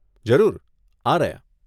જરૂર, આ રહ્યાં.